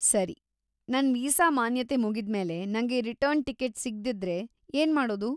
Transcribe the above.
ಸರಿ, ನನ್ ವೀಸಾ ಮಾನ್ಯತೆ ಮುಗಿದ್ಮೇಲೆ ನಂಗೆ ರಿಟರ್ನ್ ಟಿಕೆಟ್ ಸಿಗ್ದಿದ್ರೆ ಏನ್ಮಾಡೋದು?